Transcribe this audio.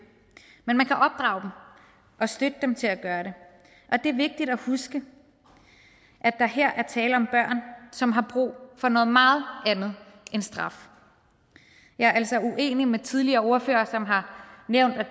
men man kan opdrage dem og støtte dem til at gøre det og det er vigtigt at huske at der her er tale om børn som har brug for noget meget andet end straf jeg er altså uenig med de tidligere ordførere som har nævnt at